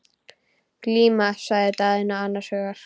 Glíma, sagði Daðína annars hugar.